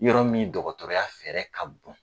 Yɔrɔ min dɔgɔtɔrɔya fɛɛrɛ ka bon.